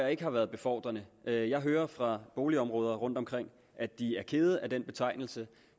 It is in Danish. ikke har været befordrende jeg jeg hører fra boligområder rundtomkring at de er kede af den betegnelse